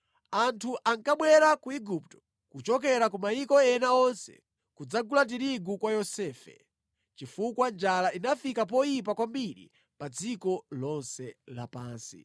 Anthu ankabwera ku Igupto kuchokera ku mayiko ena onse kudzagula tirigu kwa Yosefe, chifukwa njala inafika poyipa kwambiri pa dziko lonse lapansi.